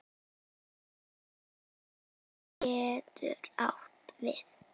Tarfur getur átt við